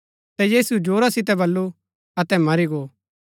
ता यीशुऐ जोरा सितै बल्लू अतै मरी गो